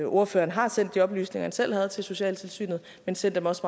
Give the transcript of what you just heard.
ordføreren har sendt de oplysninger han selv havde til socialtilsynet men send dem også